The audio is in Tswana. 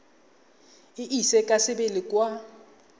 e ise ka sebele kwa